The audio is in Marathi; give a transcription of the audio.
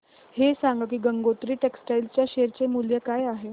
हे सांगा की गंगोत्री टेक्स्टाइल च्या शेअर चे मूल्य काय आहे